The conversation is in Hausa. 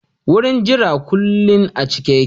Wurin jira kullin a cike yake.